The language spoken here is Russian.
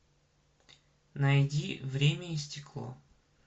найди время и стекло